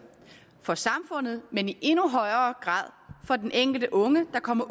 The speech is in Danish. for samfundet men i endnu højere grad for den enkelte unge der kommer